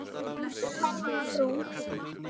Og þú ferlega brún.